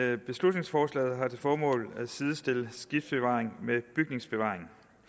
det beslutningsforslaget har til formål at sidestille skibsbevaring med bygningsbevaring